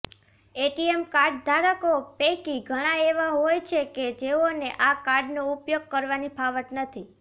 ATM કાર્ડધારકો પૈકી ઘણાં એવા હોય છે કે જેઓને આ કાર્ડનો ઉપયોગ કરવાની ફાવટ નથી